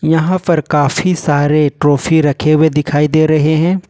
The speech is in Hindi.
यहां पर काफी सारे ट्रॉफी रखे हुए दिखाई दे रहे हैं।